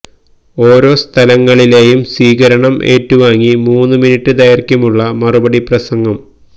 ഓരോ സ്ഥലങ്ങളിലെയും സ്വീകരണം ഏറ്റുവാങ്ങി മൂന്ന് മിനിട്ട് ദൈര്ഘ്യമുള്ള മറുപടി പ്രസംഗം